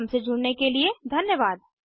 हमसे जुड़ने के लिए धन्यवाद